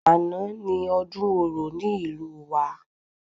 Àná ni ọdún orò ní ìlú wa